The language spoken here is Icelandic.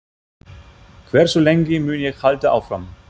Hversu lengi mun ég halda áfram?